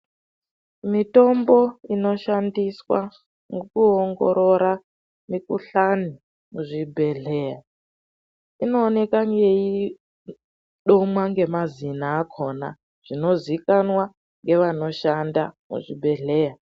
Mitombo inoshandiswa nekuongorora mikuhlani muzvibhedhlera inooneka yeidomwa nemazina akona zvinozokanwa nevanoshanda muzvibhedhlera.